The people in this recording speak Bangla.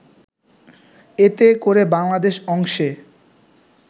এতে করে বাংলাদেশ অংশে